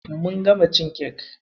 Mun gama cin kek.